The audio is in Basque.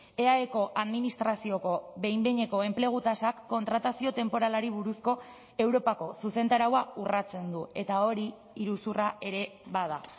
eaeko administrazioko behin behineko enplegu tasak kontratazio temporalari buruzko europako zuzentaraua urratsen du eta hori iruzurra ere bada